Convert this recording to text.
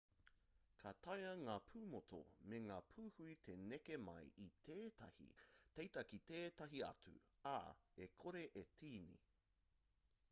ka taea ngā pūmotu me ngā pūhui te neke mai i tētahi teiti ki tētahi atu ā e kore e tīni